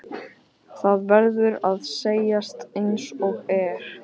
Það verður að segjast einsog er.